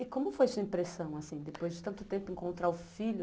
E como foi a sua impressão, assim, depois de tanto tempo encontrar o filho?